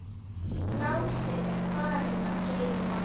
Lási er farinn að geyma.